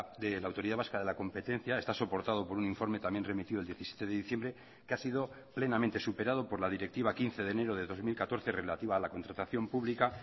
de la autoridad vasca de la competencia está soportado por un informe también remitido el diecisiete de diciembre que ha sido plenamente superado por la directiva quince de enero de dos mil catorce relativa a la contratación pública